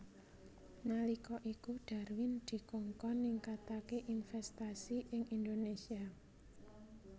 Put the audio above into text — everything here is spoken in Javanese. Nalika iku Darwin dikongkon ningkataké investasi ing Indonésia